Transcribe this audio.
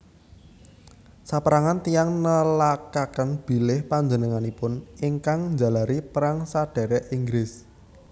Sapérangan tiyang nelakaken bilih panjenenganipun ingkang njalari Perang Sadhèrèk Inggris